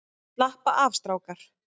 Slappa af strákar!